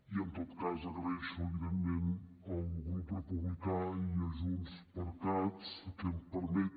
i en tot cas agraeixo evidentment al grup republicà i a junts per cat que em permetin